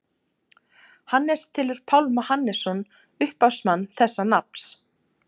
Hannes telur Pálma Hannesson upphafsmann þessa nafns.